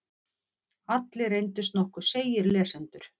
Allir reyndust nokkuð seigir lesendur.